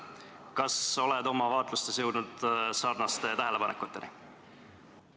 Kas oled oma vaatlustes jõudnud sarnaste tähelepanekuteni?